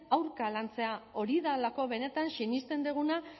aurka lantzea hori delako benetan sinesten duguna